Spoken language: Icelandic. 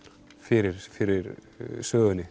fyrir fyrir sögunni